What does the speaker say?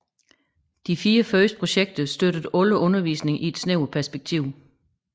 De fire første projekter støttede alle undervisning i et snævert perspektiv